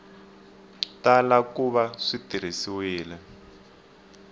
tala ku va swi tirhisiwile